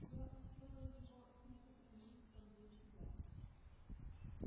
я устроил его с некоторым риском для себя